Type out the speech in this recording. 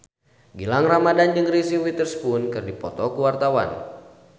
Gilang Ramadan jeung Reese Witherspoon keur dipoto ku wartawan